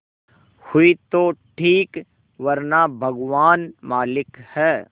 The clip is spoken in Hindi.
हुई तो ठीक वरना भगवान मालिक है